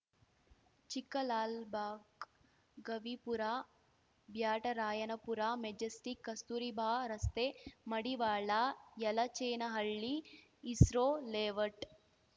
Chikkalalbagh Gavipura Byatarayanapura Majestic Kasturba ರಸ್ತೆ Madiwala Yelachenahalli ISRO layout